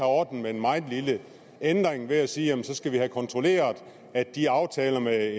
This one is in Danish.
ordnet med en meget lille ændring ved at sige at så skal vi have kontrolleret at de aftaler med